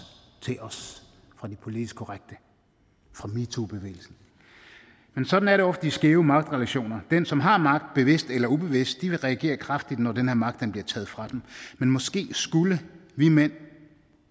fra de politisk korrekte fra metoo bevægelsen men sådan er det ofte i skæve magtrelationer den som har magt bevidst eller ubevidst vil reagere kraftigt når den her magt bliver taget fra dem men måske skulle vi mænd